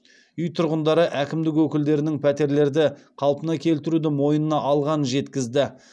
үй тұрғындары әкімдік өкілдерінің пәтерлерді қалпына келтіруді мойнына алғанын жеткізді